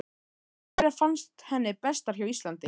En hverjar fannst henni bestar hjá Íslandi?